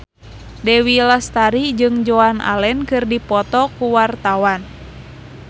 Dewi Lestari jeung Joan Allen keur dipoto ku wartawan